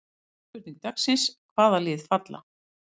Önnur spurning dagsins: Hvaða lið falla?